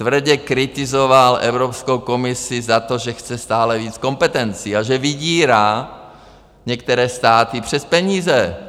Tvrdě kritizoval Evropskou komisi za to, že chce stále víc kompetencí a že vydírá některé státy přes peníze.